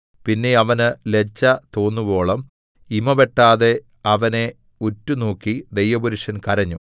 പിന്നെ അവന് ലജ്ജ തോന്നുവോളം ഇമവെട്ടാതെ അവനെ ഉറ്റുനോക്കി ദൈവപുരുഷൻ കരഞ്ഞു